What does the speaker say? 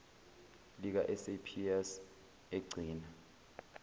lika saps egcina